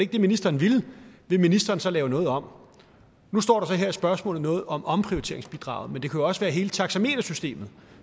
det ministeren ville vil ministeren så lave noget om nu står der så her i spørgsmålet noget om omprioriteringsbidraget men det kan jo også være hele taxametersystemet